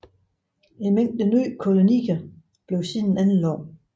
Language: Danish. En mængde nye kolonier blev siden anlagt